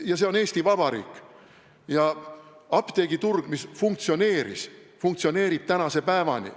Ja see on Eesti Vabariik ja apteegiturg, mis funktsioneeris, funktsioneerib tänase päevani.